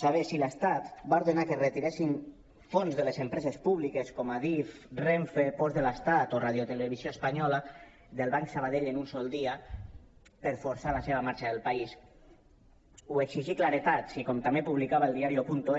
saber si l’estat va ordenar que es retiressin fons de les empreses públiques com adif renfe ports de l’estat o radiotelevisió espanyola del banc sabadell en un sol dia per forçar la seva marxa del país o exigir claredat si com també publicava eldiario